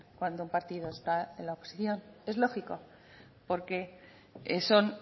cuando un partido está en la oposición es lógico porque son